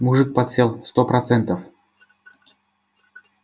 мужик подсел сто процентов